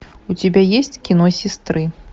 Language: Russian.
у тебя есть кино сестры